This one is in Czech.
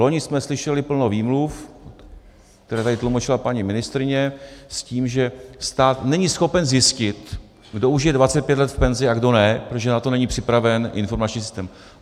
Vloni jsme slyšeli plno výmluv, které tady tlumočila paní ministryně s tím, že stát není schopen zjistit, kdo už je 25 let v penzi, a kdo ne, protože na to není připraven informační systém.